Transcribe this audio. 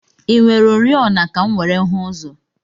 I nwere oriọna ka m were hụ ụzọ?